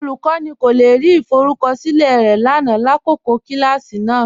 Olúkọni kò le rí ìfọrùkọṣilẹ̀ rẹ lánà làkọkọ̀ kilàsí náà.